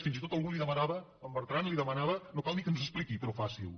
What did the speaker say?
fins i tot algú li demanava en bertran li demanava no cal ni que ens ho expliqui però faciho